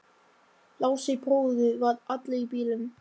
Lási bróðir var allur í bílum.